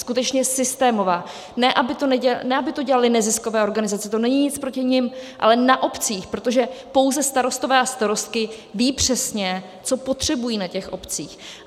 Skutečně systémová, ne aby to dělaly neziskové organizace, to není nic proti nim, ale na obcích, protože pouze starostové a starostky vědí přesně, co potřebují na těch obcích.